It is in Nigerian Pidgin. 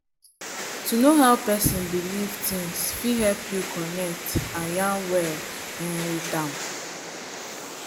to know how person believe things fit help you connect and yarn well um with am